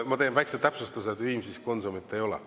Ma teen väikese täpsustuse: Viimsis Konsumit ei ole.